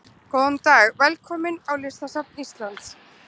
Góðan dag. Velkomin á Listasafn Íslands.